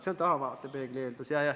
See on tahavaatepeegli eeldus.